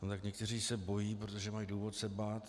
No tak někteří se bojí, protože mají důvod se bát.